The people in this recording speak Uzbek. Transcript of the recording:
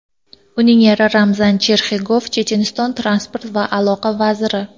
Uning eri Ramzan Cherxigov Checheniston transport va aloqa vaziri.